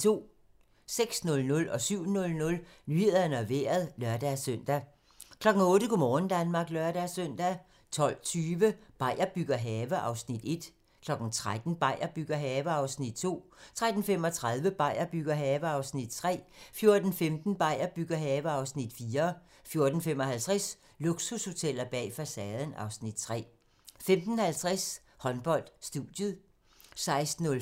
06:00: Nyhederne og Vejret (lør-søn) 07:00: Nyhederne og Vejret (lør-søn) 08:00: Go' morgen Danmark (lør-søn) 12:20: Beier bygger have (Afs. 1) 13:00: Beier bygger have (Afs. 2) 13:35: Beier bygger have (Afs. 3) 14:15: Beier bygger have (Afs. 4) 14:55: Luksushoteller bag facaden (Afs. 3) 15:50: Håndbold: Studiet 16:05: Håndbold: Odense-Team Esbjerg (k)